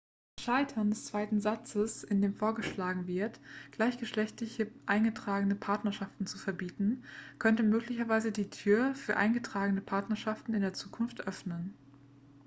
das scheitern des zweiten satzes in dem vorgeschlagen wird gleichgeschlechtliche eingetragene partnerschaften zu verbieten könnte möglicherweise die tür für eingetragene partnerschaften in der zukunft öffnen